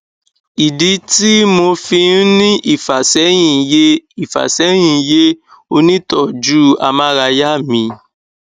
ìdí tí mo fi ń ní ìfàsẹyìn yé ìfàsẹyìn yé onítọọjú amárayá mi